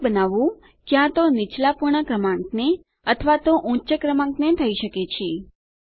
પૂર્ણાંક બનાવવું ક્યાં તો નીચલાં પૂર્ણ ક્રમાંકને અથવા તો ઉચ્ચ ક્રમાંકને થઇ શકે છે